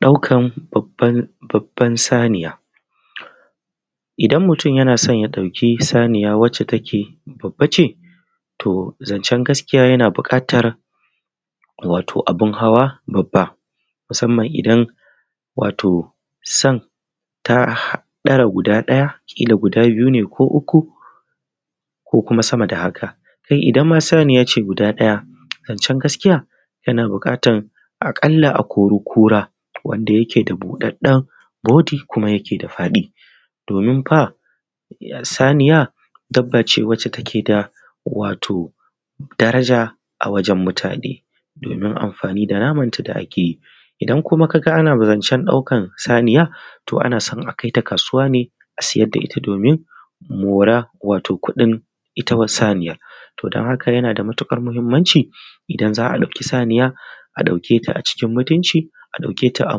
Ɗaukar babban saniya, idan mutum yana son ya ɗauki saniya wacce take babba ce to zancen gaskiya yana buƙatar abun hawa babban musamman idan san ta ɗara guda ɗaya kila guda uku ko kuma sma da haka idan ma saniya ce guda ɗaya zance gaskiya yana buƙatar a kalla a kori- kura wanda take da buɗaɗɗen budo kuma yake da faɗi. Domin fa saniya dabbace wacce take da daraja a wajen mutane amfanin da namanta da ake yi, idan kuma ka ga ana zance ɗaukar saniya, to ana zance kaita kasuwa ne a sayar da ita domin mora ita kuɗi saniyar. Don haka yana da matuƙar muhimmanci idan za a ɗauki saniya a dauke ta a cikin mutumci a ɗauke ta a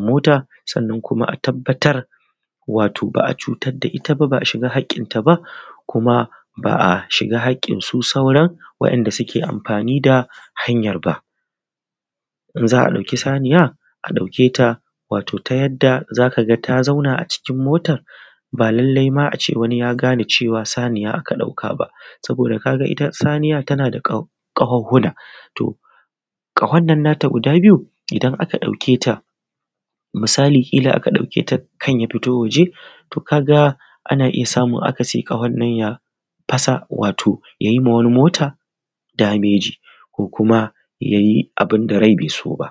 mota sannan idan za a fitar wato ba cutar da ita ba ba a shiga haƙƙinta ba. Kuma ba a shiga haƙƙinsu, sauran wanda suke amfani da hanyar ba. Idan za a ɗauki saniya a ɗauke ta ta yadda za ka ga ta zauna a cikin motar ba lallai a ce wani ma ya gane saniya aka ɗauka ba saboda ka ga ita saniya tana da ƙahohuna. Ƙahun nan nata guda biyu idan aka ɗauke ta misalin kila aka ɗauke ta kam ya fito waje ana iya samun akasi wannan ƙahun ya fasa wannan bodin mota ya yi dameji ko kuma ya yi abun da rai bai so ba.